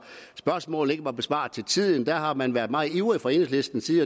at spørgsmål ikke var besvaret til tiden der har man været meget ivrig fra enhedslistens side